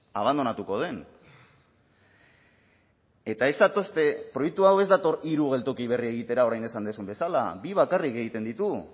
abandonatuko den eta ez zatozte proiektu hau ez dator hiru geltoki berri egitera orain esan duzun bezala bi bakarrik egiten ditu